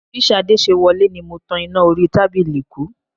Bí Ṣadé ṣe wọlé ni mo tan iná orí tábìlì kú